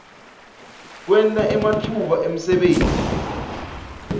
kwenta ematfuba emsebenti